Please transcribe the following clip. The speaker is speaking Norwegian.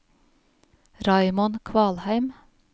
Raymond Kvalheim